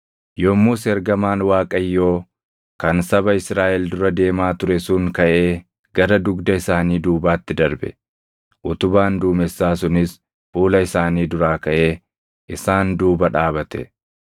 Yommus ergamaan Waaqayyoo kan saba Israaʼel dura deemaa ture sun kaʼee gara dugda isaanii duubaatti darbe. Utubaan duumessaa sunis fuula isaanii duraa kaʼee isaan duuba dhaabate;